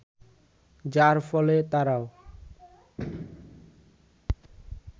যার ফলে তারাও